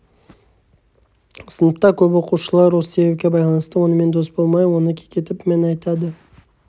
сыныпта көп оқушылар осы себепке байланысты онымен дос болмай оны кекетіп мін айтады